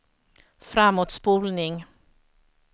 framåtspolning